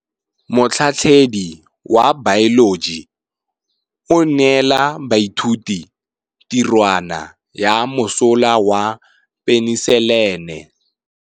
Motlhatlhaledi wa baeloji o neela baithuti tirwana ya mosola wa peniselene.